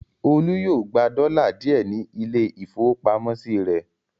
Olú yóò gba dọ́là díẹ̀ ní ilé-ìfowópamọ́sí rẹ̀.